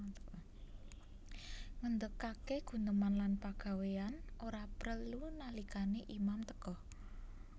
Ngendhegage guneman lan pagawean ora prelu nalikane imam teka